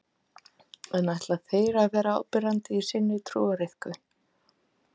En ætla þeir að vera áberandi í sinni trúariðkun?